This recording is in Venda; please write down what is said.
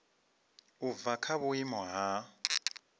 u bva kha vhuimo ha